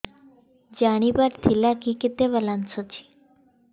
ଜାଣିବାର ଥିଲା କି କେତେ ବାଲାନ୍ସ ଅଛି